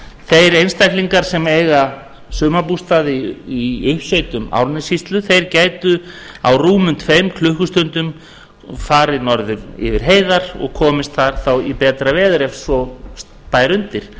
þeir einstaklingar sem eiga sumarbústaði í uppsveitum árnessýslu gætu á rúmum tveim klukkustundum farið norður yfir heiðar og komist þar þá í betra veður ef svo bæri undir